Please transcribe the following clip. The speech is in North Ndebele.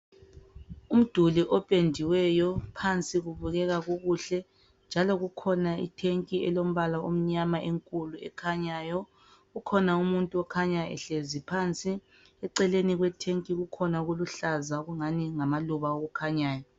Umduli opendiweyo phansi kubukeka kukuhle. Njalo kukhona itank elombala omnyama ekhanyayo. Kukhona umuntu okhanya ehlezi phansi eceleni kwe tank kukhona okuluhlaza okungani ngamaluba okukhanyayo.